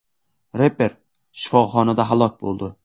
Reper shifoxonada halok bo‘ldi.